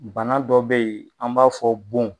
Bana dɔ be yen, an b'a fɔ bon